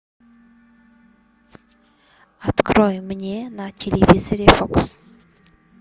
открой мне на телевизоре фокс